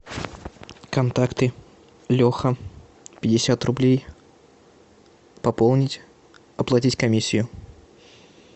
контакты леха пятьдесят рублей пополнить оплатить комиссию